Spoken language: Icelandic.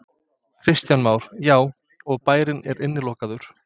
Kristján Már: Já, og bærinn er innilokaður?